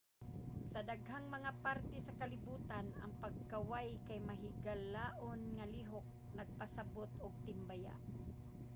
sa daghang mga parte sa kalibutan ang pagkaway kay mahigalaon nga lihok nagpasabot og timbaya.